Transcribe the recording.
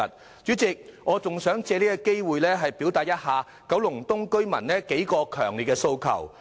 代理主席，我還想藉着這個機會轉達九龍東居民的數個強烈訴求。